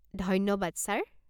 ধন্যবাদ, ছাৰ।